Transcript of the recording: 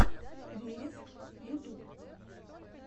вереск ютуб